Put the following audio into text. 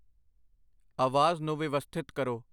ਆਵਾਜ਼ ਨੂੰ ਵਿਵਸਥਿਤ ਕਰੋ।